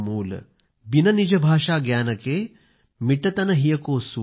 बिन निज भाषाज्ञान के मिटत न हिय को सूल ।।